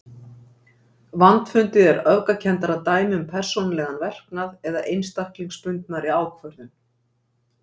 Vandfundið er öfgakenndara dæmi um persónulegan verknað eða einstaklingsbundnari ákvörðun.